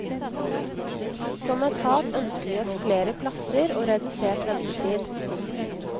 Som etat ønsker vi oss flere plasser og redusert ventetid.